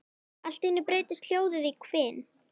Allt í einu breytist hljóðið í hvin.